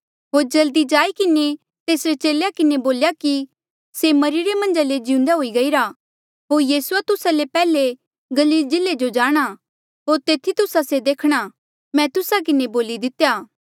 होर जल्दी जाई किन्हें तेसरे चेले किन्हें बोला कि से मरिरे मन्झा ले जिउंदा हुई गईरा होर यीसूआ तुस्सा ले पैहले गलील जिल्ले जो जाणा होर तेथी तुस्सा से देखणा मैं तुस्सा किन्हें बोली दितेया